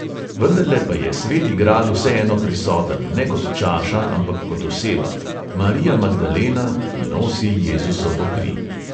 Vendarle pa je sveti gral vseeno prisoten, ne kot čaša, ampak kot oseba – marija magdalena, ki nosi jezusovo kri.